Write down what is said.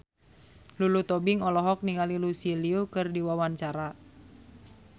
Lulu Tobing olohok ningali Lucy Liu keur diwawancara